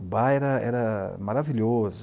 O bar era era maravilhoso.